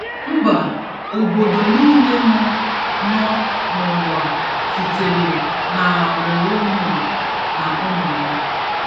Mba/obodo niile nọ nọ n'ụwa sitere n'agbụrụ Noah na ụmụ ya.